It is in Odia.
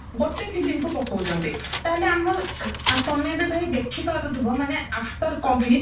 ଗୋଟେ film କୁ ପକଉଚନ୍ତି ତାହାହେଲେ ଆମ ତମେ ଏବେ ଭାଇ ଦେଖିପାରୁଥିବା ମାନେ after covid